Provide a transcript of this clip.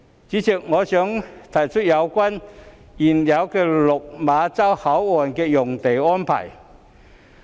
主席，我想提出有關原有落馬洲口岸的用地安排。